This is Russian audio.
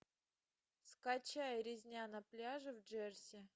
скачай резня на пляже в джерси